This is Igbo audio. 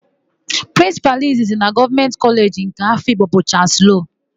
Prịnsịpalụ izizi na Gọọmenti Kọleji nke Afikpo bụ Chalụsị Loo.